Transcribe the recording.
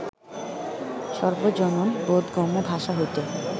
সর্বজন-বোধগম্য ভাষা হইতে